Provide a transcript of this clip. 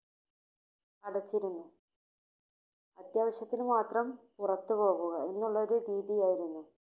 അടച്ചിരുന്നു. അത്യാവശ്യത്തിനു മാത്രം പുറത്തുപോവുക എന്നുള്ള ഒരു രീതി ആയിരുന്നു.